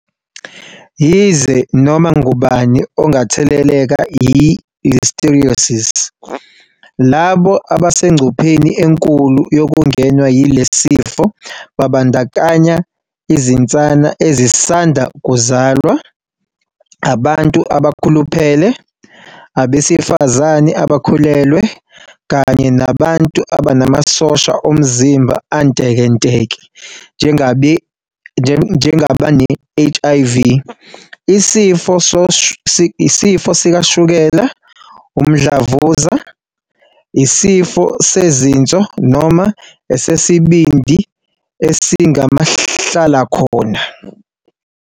Yize noma ngubani ongatheleleka yi-Listeriosis, labo abasengcupheni enkulu yokungenwa yilesi sifo babandakanya izinsana ezisanda kuzalwa, abantu asebeluphele, abesifazane abakhulelwe, kanye nabantu abanamasosha omzimba antekenteke njengabane-HIV, isifo sikashukela, umdlavuza, isifo sezinso noma esesibindi esingumahla lakhona.